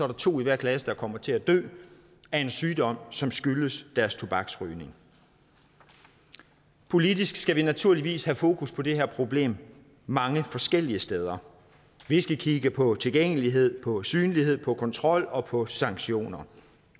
der to i hver klasse der kommer til at dø af en sygdom som skyldes deres tobaksrygning politisk skal vi naturligvis have fokus på det her problem mange forskellige steder vi skal kigge på tilgængelighed på synlighed på kontrol og på sanktioner